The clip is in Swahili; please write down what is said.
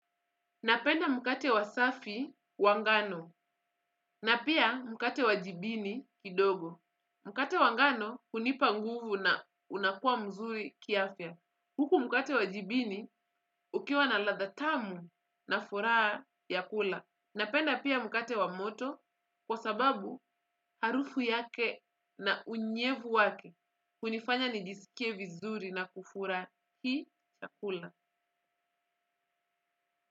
Napenda mkate wa safi wangano na pia mkate wa jibini kidogo. Mkate wa ngano hunipa nguvu na unakuwa mzuri kiafia. Huku mkate wa jibini ukiwa na ladha tamu na furaa ya kula. Napenda pia mkate wa moto kwa sababu harufu yake na unyevu wake hunifanya nijisikie vizuri na kufurahi chakula.